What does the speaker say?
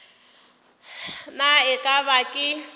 na e ka ba ke